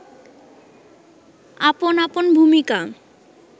আপন আপন ভূমিকা